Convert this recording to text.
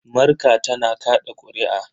Marka tana kaɗa ƙuri'a.